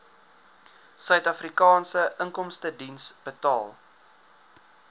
suidafrikaanse inkomstediens betaal